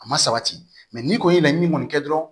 A ma sabati mɛ ni kɔni ye laɲini kɔni kɛ dɔrɔn